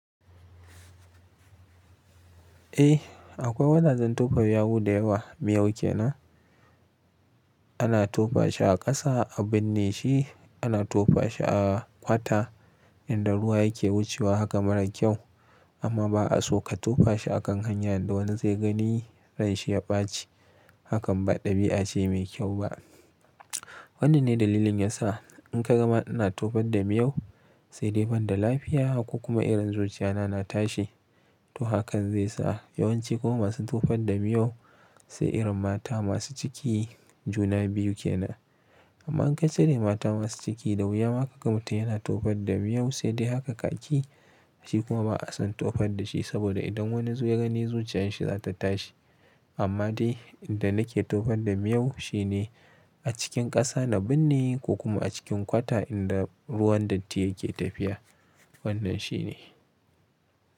Eh akwai wajajen tofa yawu da yawa miyau ke nan. Ana tofa shi a ƙasa, a binne shi, ana tofa shi a ƙwata inda ruwa yake wucewa haka mara kyau amma ba a so ka tofa shi a kan hanya inda wani zai gani ranshi ya ɓaci hakan ba ɗabi'a ce mai kyau ba. Wannan ne dalilin yasa in ka gama ina tofa da miyau sai dai banda lafiya ko kuma irin zuciya na, na tashi to hakan zai sa yawanci kuma masu tofar da miyau sai irin mata masu ciki juna biyu ke nan. Amma in ka cire mata masu ciki, da wuya ma ka gama ta yana tofar da miyau sai dai haka kaki shi kuma ba a son tofa da shi saboda idan wani zu ya gani zuciyar shi za ta tashi. Amma dai inda nake tofan da miyau shine a cikin ƙasa na binne ko kuma a cikin ƙwata inda ruwan datti yake tafiya wannan shi ne.